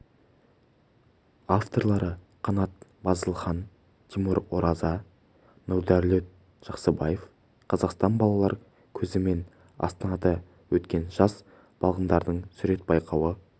авторлары қанат базылхан тимур ораза нұрдәулет жақсыбаев қазақстан балалар көзімен астанада өткен жас балғындардың сурет байқауы